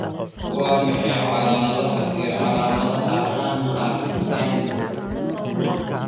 Waa maxay calaamadaha iyo calaamadaha Hanhart syndrome?